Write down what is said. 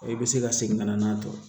I bɛ se ka segin ka na n'a ye